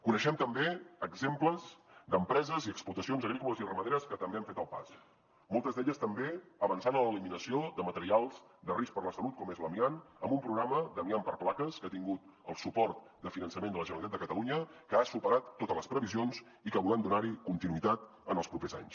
coneixem també exemples d’empreses i explotacions agrícoles i ramaderes que també han fet el pas moltes d’elles també avançant en l’eliminació de materials de risc per a la salut com és l’amiant amb un programa d’amiant per plaques que ha tingut el suport del finançament de la generalitat de catalunya que ha superat totes les previsions i que volem donar hi continuïtat en els propers anys